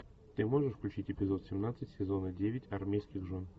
ты можешь включить эпизод семнадцать сезона девять армейских жен